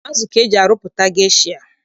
Azụ ka eji arụpụta gesha.